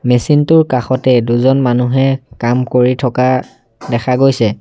Machine টোৰ কাষতে দুজন মানুহে কাম কৰি থকা দেখা গৈছে।